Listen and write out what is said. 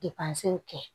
kɛ